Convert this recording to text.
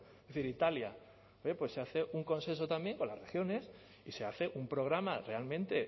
es decir italia pues se hace un consenso también con las regiones y se hace un programa realmente